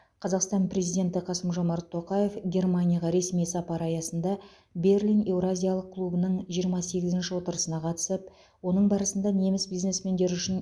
қазақстан президенті қасым жомарт тоқаев германияға ресми сапары аясында берлин еуразиялық клубының жиырма сегізінші отырысына қатысып оның барысында неміс бизнесмендері үшін